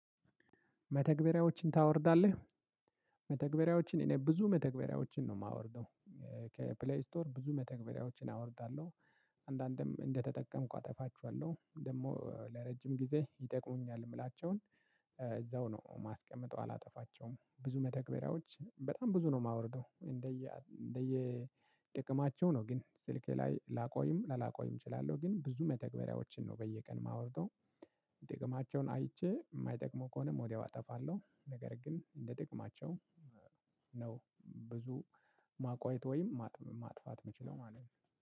መተግበሪያዎችን ታወርዳለህ? መተግበሪያዎችን እኔ ብዙ መተግበሪያዎችን ነው የማወርደው። ከፕሌይ ስቶር ብዙ መተግበሪያዎችን አወርዳለሁ። አንዳንዴም እንደተጠቀምኩ አጠፋቸዋለሁ ደግሞ ለረጅም ጊዜ ይጠቅሙኛል የምላቸውን። እዛው ነው ማስቀምጠው አላጠፋቸውም። ብዙ መተግበሪያዎች በጣም ብዙ ነው የማወርደው እንደየ እንደየ ጥቅማቸው ነው። ግን ስልኬ ላይ ላቆይም ላላቆይም እችላለሁ ግን ብዙ መተግበሪያዎችን ነው በየቀን የማወርደው። ጥቅማቸውን አይቼ የማይጠቅሙ ከሆነም ወዲያው አጠፋለሁ። ነገር ግን እንደ ጥቅማቸው ነው ብዙ ማቆየት ወይም ማጥፋት የምችለው ማለት ነው።